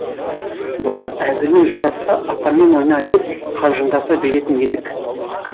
бұрын әзілің жарасса атаңмен ойна деп қалжыңдаса беретін едік